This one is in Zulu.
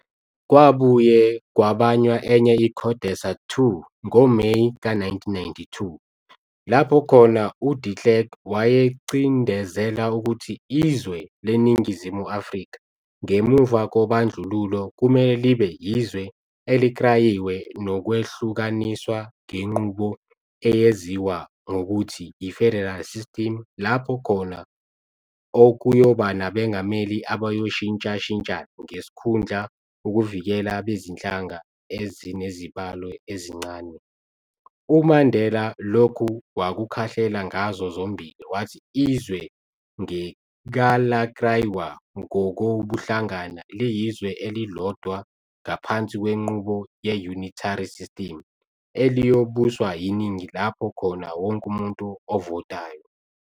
Kwabuye kwabanywa enye iCODESA 2 ngoMeyi ka-1992, lapho khona uDe Klerk wayecindezela ukuthi izwe leNingizimu Afrika ngemuva kobandlululo, kumele libe yizwe elikrayiwe nokwehlukaniswa, ngenqubo eyeziwa ngokuthi yi-federal system lapho khona okuyoba nabengameli abayoshintshashintshana ngesikhundla ukuvikela abezinhlanga ezinezibalo ezincane, uMandela lokhu wakukhahlela ngazo zombili, wathi izwe ngekalakraywa ngokobuhlanga, liyizwe elilodwa ngaphansi kwenqubo ye-unitary system eliyobuswa yiningi lapho khona wonke umuntu ovotayo.